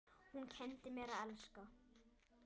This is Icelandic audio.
Hún kenndi mér að elska.